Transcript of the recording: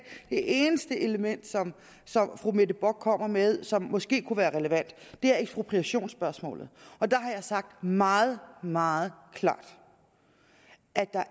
eneste element fru mette bock kommer med som måske kunne være relevant er ekspropriationsspørgsmålet og der har jeg sagt meget meget klart at der